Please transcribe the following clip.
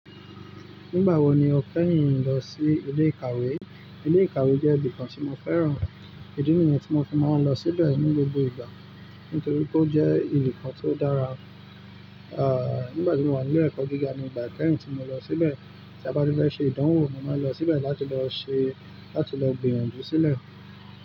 Nígbà wo ni o kẹ́yìn lọ sí ilé ìkàwé? Ilé ìkàwé jẹ́ ibìkan tí mo fẹ́ràn. Èdi ni yẹn tí ó fi máa ń lọ síbẹ̀ ní gbogbo ìgbà nítorí pé ó jẹ́ ibìkan tó dára. À, nígbà tí mo wà nílé ẹ̀kọ́ gíga ni ìgbà kẹ́yìn tí mo lọ síbẹ̀. Tí a bá ti fẹ́ ṣe ìdánwò mo máa ń lọ síbẹ̀ láti lọ ṣe láti lọ gbìyànjú sílẹ̀.